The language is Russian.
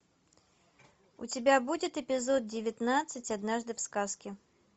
у тебя будет эпизод девятнадцать однажды в сказке